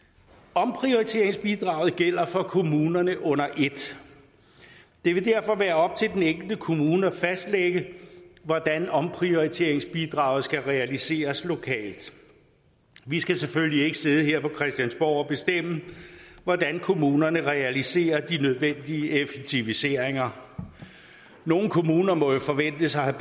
omprioriteringsbidraget gælder for kommunerne under et det vil derfor være op til den enkelte kommune at fastlægge hvordan omprioriteringsbidraget skal realiseres lokalt vi skal selvfølgelig ikke sidde her på christiansborg og bestemme hvordan kommunerne realiserer de nødvendige effektiviseringer nogle kommuner må jo forventes at have